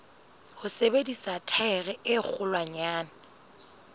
ho sebedisa thaere e kgolwanyane